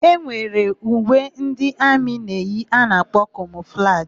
E nwere uwe ndị amị na-eyi a na-akpọ kamọflajị.